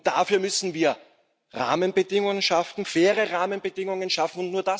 Dafür müssen wir Rahmenbedingungen schaffen, faire Rahmenbedingungen schaffen.